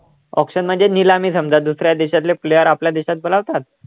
auction म्हणजे निलामी समजा दुसऱ्या देशातले player आपल्या देशात बोलवतात.